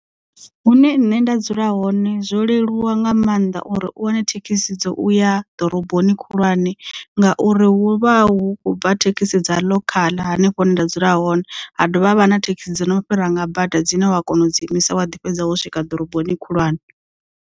Hune nṋe nda dzula hone zwo leluwa nga maanḓa uri u wane thekhisi dzo uya ḓoroboni khulwane nga uri huvha hu kho bva thekhisi dza ḽokhaḽa hanefho hune nda dzula hone ha dovha ha vha na thekhisi dzo no fhira nga bada dzine wa kona u dzi imisa wa ḓi fhedza wo swika ḓoroboni khulwane.